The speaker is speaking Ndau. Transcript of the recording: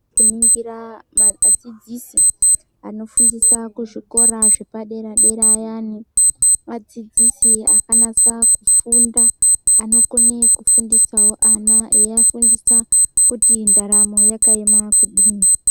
Kuningira madzidzisi anofundisa kuzvikora zvepadera dera ayani vadzidzisi akanasa kufunda anokone kufundisao ana eiafundisa kuti ndaramo yakaema kudini.